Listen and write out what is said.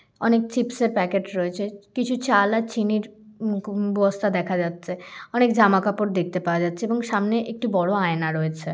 অনেক চিপস এর প্যাকেট রয়েছে কিছু চাল আর চিনির উম ক বস্তা দেখা যাচ্ছে অনেক জামা কাপড় দেখতে পাওয়া যাচ্ছে এবং সামনে একটি বড়ো আয়না রয়েছে।